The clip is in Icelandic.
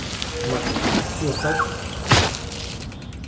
Magnús: Ert þú á hraðferð?